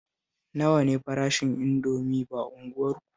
Nawa ne farashin Indomi ba unguwarku?